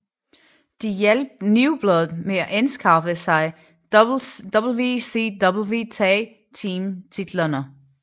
De hjalp New Blood med at anskaffe sig WCW Tag Team titlerne